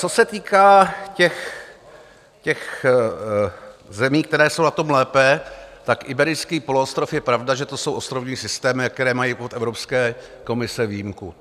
Co se týká těch zemí, které jsou na tom lépe, tak Iberijský poloostrov, je pravda, že to jsou ostrovní systémy, které mají od Evropské komise výjimku.